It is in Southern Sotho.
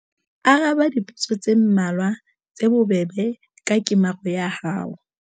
Araba dipotso tse mmalwa tse bobebe ka kemaro ya hao.